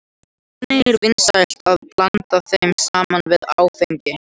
Einnig er vinsælt að blanda þeim saman við áfengi.